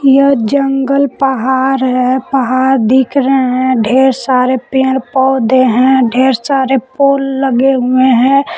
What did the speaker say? यह जंगल पहार है पहार दिख रहे हैं ढेर सारे पेड़ पौधे हैं ढेर सारे पोल लगे हुए हैं।